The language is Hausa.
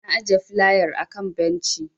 Na ajiye filayar a kan benci.